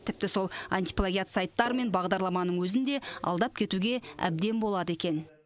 тіпті сол антиплагиат сайттар мен бағдарламаның өзін де алдап кетуге әбден болады екен